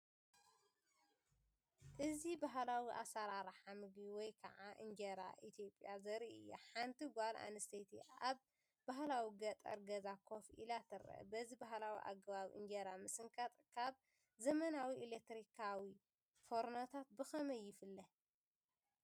እዚ ባህላዊ ኣሰራርሓ ምግቢ ወይ ከዓ እንጀራ ኢትዮጵያ ዘርኢ እዩ። ሓንቲ ጓል ኣንስተይቲ ኣብ ባህላዊ ገጠር ገዛ ኮፍ ኢላ ትርአ። በዚ ባህላዊ ኣገባብ እንጀራ ምስንካት ካብ ዘመናዊ ኤለክትሪካዊ ፎርኖታት ብኸመይ ይፍለ፧